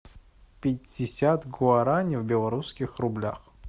пятьдесят гуарани в белорусских рублях